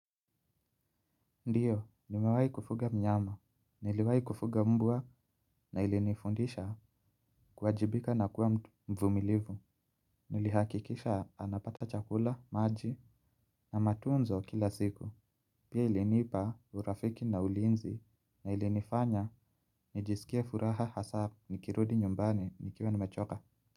Ndiyo, nimewahi kufuga mnyama. Niliwahi kufuga mbwa na ilinifundisha kuwajibika na kuwa mvumilivu. Nilihakikisha anapata chakula, maji na matunzo kila siku. Pia ilinipa urafiki na ulinzi na ilinifanya nijisikie furaha hasa nikirudi nyumbani nikiwa nimechoka.